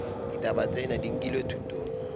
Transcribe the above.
ditaba tsena di nkilwe thutong